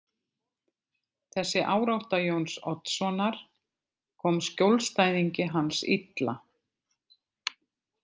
Þessi árátta Jóns Oddssonar kom skjólstæðingi hans illa.